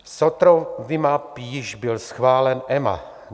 Sotrovimab již byl schválen EMA.